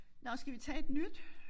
Nåh skal vi tage et nyt?